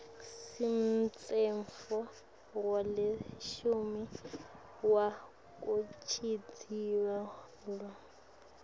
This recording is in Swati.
semtsetfo welishumi wekuchitjiyelwa